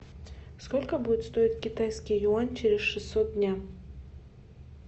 сколько будет стоить китайский юань через шестьсот дней